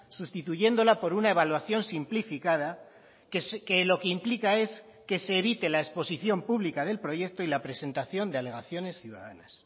sustituyéndola por una evaluación simplificada que lo que implica es que se evite la exposición pública del proyecto y la presentación de alegaciones ciudadanas